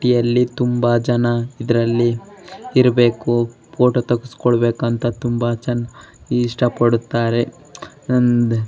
City ಅಲ್ಲಿ ತುಂಬಾ ಜನ ಇದರಲ್ಲಿ ಇರಬೇಕು ಫೋಟೋ ತೆಗೆಸ್ಕೊಳ್ಬೇಕು ಅಂತ ತುಂಬಾ ಚೆನ್ನಾಗಿ ಇಷ್ಟ ಪಡುತ್ತಾರೆ .